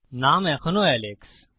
নাম এখনও এলেক্স